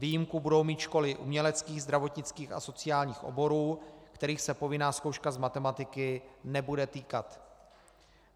Výjimku budou mít školy uměleckých, zdravotnických a sociálních oborů, kterých se povinná zkouška z matematiky nebude týkat.